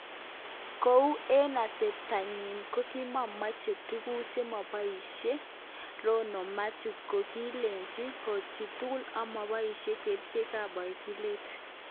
Kou eng atebta nyin nekimomoche tuguk chemomokyinge Rono Mathew kokilachke kouchitugul amoboishen kerichek ab bokitet.